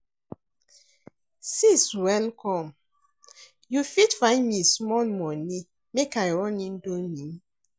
Sis welcome, you fit find me small moni make I run Indomie?